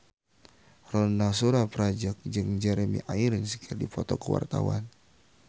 Ronal Surapradja jeung Jeremy Irons keur dipoto ku wartawan